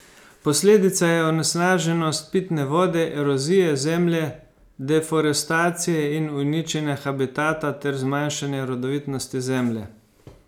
Posledica je onesnaženost pitne vode, erozija zemlje, deforestacija in uničenje habitata ter zmanjšanje rodovitnosti zemlje.